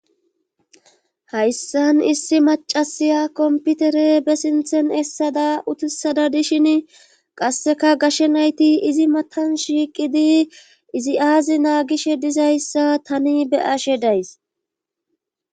hayssan issi macasiya komputere be sinthen essada utisada dishin qasseka gashe nayti izi matan shiiqidi izi aazi naagishe dizayssa tani beyashe days